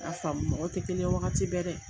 I y'a faamu mɔgɔ tɛ kelen ye wagati bɛɛ dɛ!